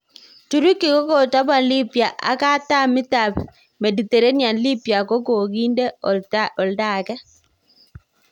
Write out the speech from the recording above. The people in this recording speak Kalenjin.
Turuki kokotapal libya ak katam itap Mediterranean Libya ko kokinde oltangee.